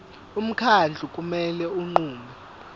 umkhandlu kumele unqume